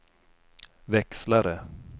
växlare